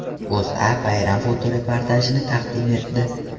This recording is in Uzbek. O‘zA bayram fotoreportajini taqdim etdi .